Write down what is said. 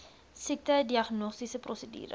siekte diagnostiese prosedure